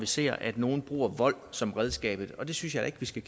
ser at nogle bruger vold som redskab og det synes jeg ikke vi skal